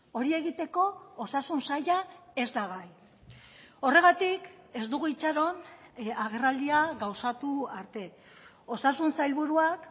hori egiteko osasun saila ez da gai horregatik ez dugu itxaron agerraldia gauzatu arte osasun sailburuak